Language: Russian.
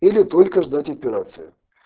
или только ждать операции